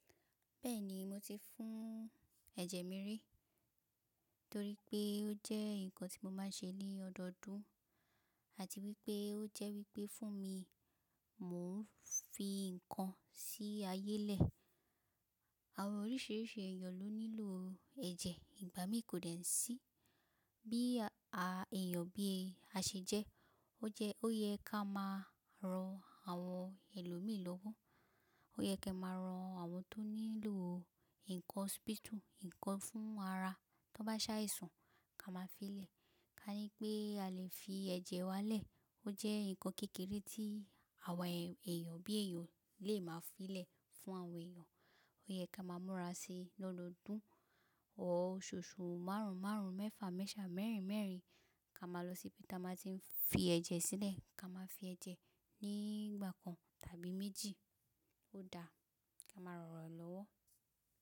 Bẹ́ẹ̀ni mo ti fún ẹ̀jẹ̀ mi rí, torí pé ó jẹ́ nǹkan tí mo máa ń ṣe ní ọdọọdún àti wípé ó jẹ́ wípé fún mi mò ń fi ǹkan sí ayé lẹ̀. Àwọn oríṣìíríṣìí èyàn ló nílò ẹ̀jẹ̀, ìgbà mí kò dẹ n sí bí a èèyàn bí a ṣe jẹ́. Ó yẹ ká máa ran àwọn ẹlòmíí lọ́wọ́. Ó yẹ ká máa ran àwọn tó nílò ǹkan hospital ǹkan fún ara tó bá ṣàìsàn ká máa fi lẹ̀. Ká ní pé a lè fi ẹ̀jẹ̀ wa lẹ̀. Ó jẹ́ ǹkan kékeré tí àwa èèyàn bí èèyàn lè máa fi lẹ̀ fún àwọn èèyàn. Ó yẹ ká máa múra síi lọ́dọọdún osoosu márùn márùn mẹ́fà mẹ́fa mẹ́rin mẹ́rin ká máa lọ síbi tí a máa ti ń fi ẹ̀jẹ̀ sílẹ̀. Ká máa fi ẹ̀jẹ̀ ní ìgbà kan tàbí méjì ó da ká máa rọrọ lọ́wọ́.